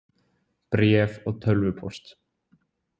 Bréf og tölvupóst.